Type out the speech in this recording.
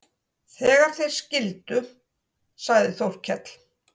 Þegar þeir skildu sagði Þórkell